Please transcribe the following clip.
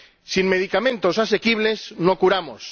Sin medicamentos asequibles, no curamos.